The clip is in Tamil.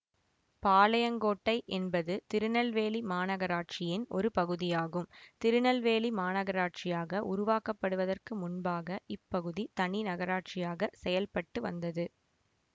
பாளையங்கோட்டை என்பது திருநெல்வேலி மாநகராட்சியின் ஒரு பகுதியாகும் திருநெல்வேலி மாநகராட்சியாக உருவாக்கப்படுவதற்கு முன்பாக இப்பகுதி தனி நகராட்சியாகச் செயல்பட்டு வந்தது